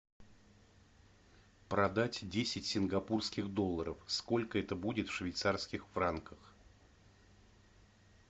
продать десять сингапурских долларов сколько это будет в швейцарских франках